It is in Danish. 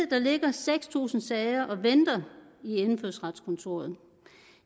der ligger seks tusind sager og venter i indfødsretskontoret